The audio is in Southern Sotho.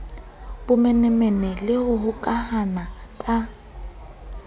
bomenemene le ho hokahana ka